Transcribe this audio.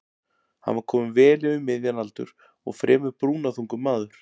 Hann var kominn vel yfir miðjan aldur og fremur brúnaþungur maður.